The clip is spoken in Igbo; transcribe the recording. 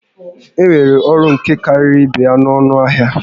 Enwere ọrụ nka karịrị ibé ya n'ọnụ ahịa?